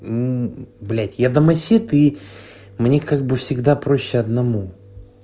мм блять я домосед и мне как бы всегда проще одному